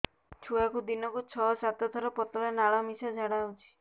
ଛୁଆକୁ ଦିନକୁ ଛଅ ସାତ ଥର ପତଳା ନାଳ ମିଶା ଝାଡ଼ା ହଉଚି